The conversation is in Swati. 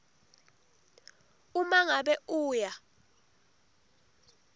uma ngabe uya